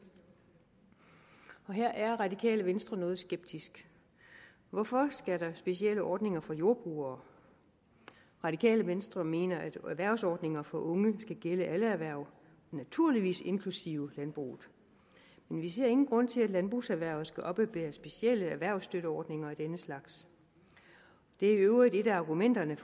og her er radikale venstre noget skeptisk hvorfor skal der være specielle ordninger for jordbrugere radikale venstre mener at erhvervsordninger for unge skal gælde alle erhverv naturligvis inklusive landbruget men vi ser ingen grund til at landbrugserhvervet skal oppebære specielle erhvervsstøtteordninger af denne slags det er i øvrigt et af argumenterne